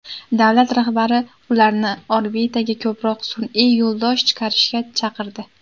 Davlat rahbari ularni orbitaga ko‘proq sun’iy yo‘ldosh chiqarishga chaqirdi.